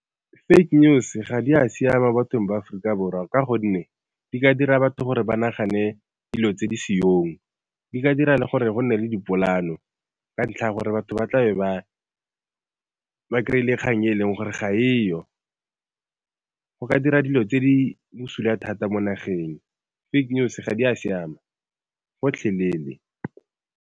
Fake news ga di a siama bathong ba Aforika Borwa ka gonne di ka dira batho gore ba nagane dilo tse di seong. Di ka dira gore go nne le dipola'ano, ka ntlha ya gore batho ba tla be ba kry-ile kgang e leng gore ga e yo. Go ka dira dilo tse di bosula thata mo nageng, fake news ga di a siama gotlhelele.